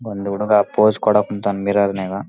ಒಂದು ಹುಡುಗ ಫೋಸ್ ಕೊಡೋಕ್ ನಿಂತನ ಮಿರರ್ ನ್ಯಾಗ.